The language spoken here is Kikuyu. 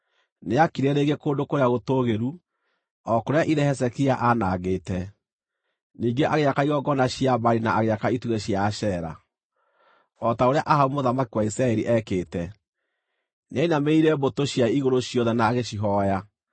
Nĩaakire rĩngĩ kũndũ kũrĩa gũtũũgĩru, o kũrĩa ithe Hezekia aanangĩte; ningĩ agĩaka igongona cia Baali na agĩaka itugĩ cia Ashera, o ta ũrĩa Ahabu mũthamaki wa Isiraeli eekĩte. Nĩainamĩrĩire mbũtũ cia igũrũ ciothe na agĩcihooya.